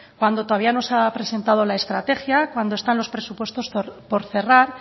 cuando todavía no se ha presentado la estrategia cuando están los presupuestos por cerrar